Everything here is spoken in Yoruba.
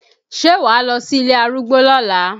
Ṣé wà á lọ sí ilé arúgbó lọ́la?